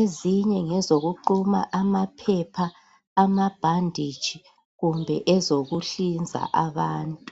ezinye ngezokuquma amaphepha, amabhanditshi kumbe ezokuhlinza abantu